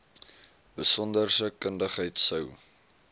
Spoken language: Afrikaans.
besonderse kundigheid sou